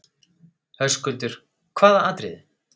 Höskuldur: Hvaða atriðið?